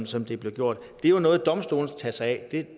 som det er blevet gjort det er jo noget domstolene skal tage sig af